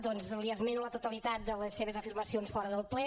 doncs li esmeno la totalitat de les seves afirmacions fora del ple